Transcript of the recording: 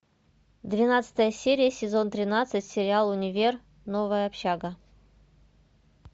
двенадцатая серия сезон тринадцать сериал универ новая общага